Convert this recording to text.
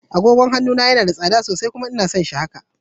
Agogon hannu na yana da tsada sosai. kuma ina son shi haka.